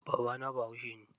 Babana bahaushe ne.